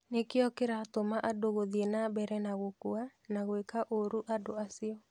Nĩkĩo kĩratũma andũ gũthiĩ na mbere na gũkua na gwĩka ũru andũ acio.